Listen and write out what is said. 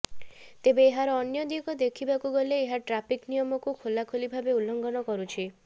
ତେବେ ଏହାର ଅନ୍ୟ ଦିଗ ଦେଖିବାକୁ ଗଲେ ଏହା ଟ୍ରାଫିକ ନିୟମକୁ ଖୋଲାଖୋଲି ଭାବେ ଉଲ୍ଲଂଘନ କରୁଛି